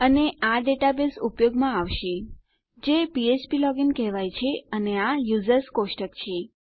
અને આ ડેટાબેઝ ઉપયોગમાં આવશે જે ફ્ફ્પ લોગિન કહેવાય છે અને આ યુઝર્સ કોષ્ટક છે